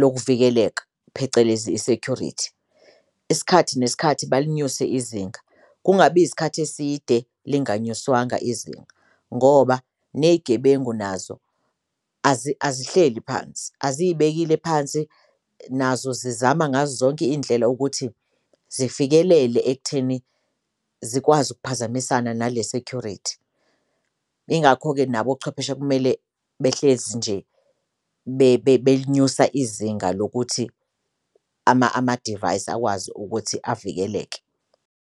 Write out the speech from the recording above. lokuvikeleke phecelezi i-security. Isikhathi nesikhathi balinyuse izinga kungabi isikhathi eside linganyiswanga izinga, ngoba ney'gebengu nazo azihleli phansi aziyibekile phansi nazo zizama ngazo zonke iy'ndlela ukuthi zifikelele ekutheni zikwazi ukuphazamisana nale security. Ingakho-ke nabo ochwepheshe kumele behlezi nje belinyusa izinga lokuthi amadivayisi akwazi ukuthi avikeleke.